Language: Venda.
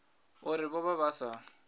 uri vho vha vha sa